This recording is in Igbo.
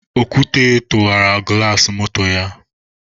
Okwute tụwara gụlas moto ya.